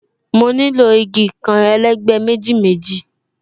Mo nílò igi kan, elegbe méjì méjì